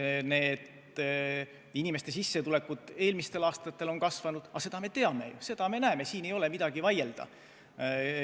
Aga selle üle, kuidas inimeste sissetulekud eelmistel aastatel on kasvanud – seda me teame ju, seda me näeme –, ei ole midagi vaielda.